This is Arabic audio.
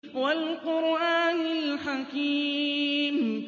وَالْقُرْآنِ الْحَكِيمِ